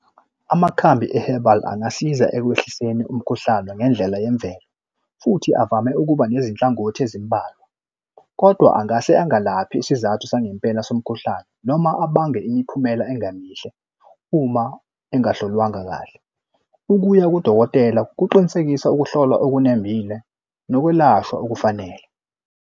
Amakhambi ehebhali angasiza ekwehlisweni umkhuhlane ngendlela yemvelo, futhi avame ukuba nezinhlangothi ezimbalwa kodwa angase angalaphi isizathu sangempela somkhuhlane noma abange imiphumela engemihle uma engahlolwanga kahle. Ukuya kudokotela kuqinisekisa ukuhlolwa okunembile nokwelashwa okufanele.